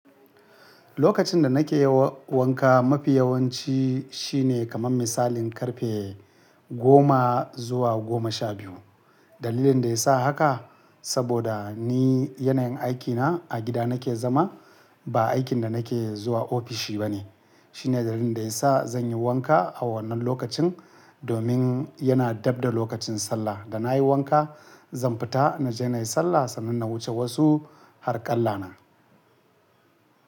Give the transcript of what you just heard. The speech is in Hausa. Lokacin da nake wa wanka mafi yawanci shine kaman misalin karfe goma zuwa goma sha biyu. Dalilin da ya sa haka, saboda ni yanayin aikina a gida nake zama ba aikin da nake zuwa ofishi bane. Shine dalilin da ya sa zan yi wanka a wannan lokacin domin yana dabda lokacin sallah. Da na yi wanka zan fita na je na yi sallah sannan na wuce wasu harƙalla na.